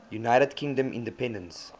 united kingdom independence